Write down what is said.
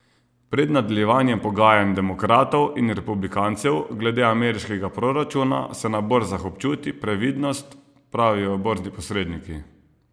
Pred nadaljevanjem pogajanj demokratov in republikancev glede ameriškega proračuna se na borzah občuti previdnost, pravijo borzni posredniki.